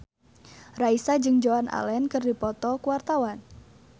Raisa jeung Joan Allen keur dipoto ku wartawan